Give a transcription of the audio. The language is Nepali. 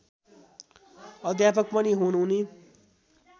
अध्यापक पनि हुन् उनी